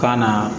Ka na